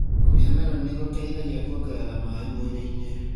Kũrĩa meloni nĩ gũteithagia kuongerera maĩ mwĩrĩini.